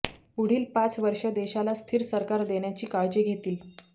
पुढील पाच वर्ष देशाला स्थिर सरकार देण्याची काळजी घेतील